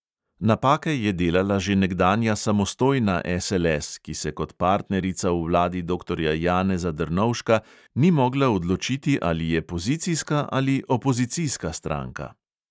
Napake je delala že nekdanja samostojna SLS, ki se kot partnerica v vladi doktorja janeza drnovška ni mogla odločiti, ali je pozicijska ali opozicijska stranka.